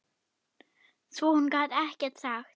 Svo hún gat ekkert sagt.